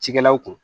Cikɛlaw kun